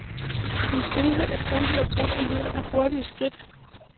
En stilhed, der kun bliver brudt af lyden af hurtige skridt.